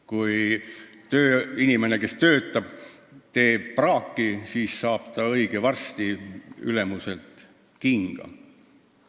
Kui tööinimene toodab praaki, siis saab ta õige varsti ülemuselt kinga.